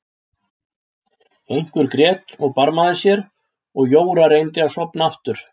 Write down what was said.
Einhver grét og barmaði sér og Jóra reyndi að sofna aftur.